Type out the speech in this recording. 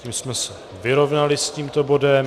Tím jsme se vyrovnali s tímto bodem.